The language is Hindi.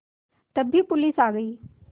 तभी पुलिस आ गई